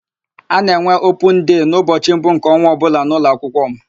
A na-enwe opun dei n'ụbọchị mbụ nke ọnwa ọbụla n'ụlọakwụkwọ m.